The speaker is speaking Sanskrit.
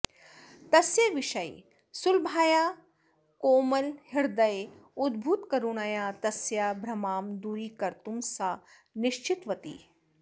तस्य विषये सुलभायाः कोमलहृदये उद्भूतकरुणया तस्य भ्रमां दूरीकर्तुं सा निश्चितवती